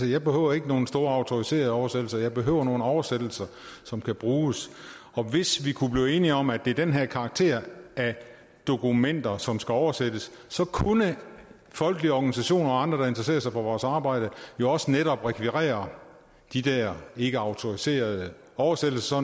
jeg behøver ikke nogen store autoriserede oversættelser jeg behøver nogle oversættelser som kan bruges og hvis vi kunne blive enige om at det er den her karakter af dokumenter som skal oversættes kunne folkelige organisationer og andre der interesserer sig for vores arbejde jo også netop rekvirere de der ikkeautoriserede oversættelser